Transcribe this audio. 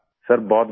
sir बहुत बढ़िया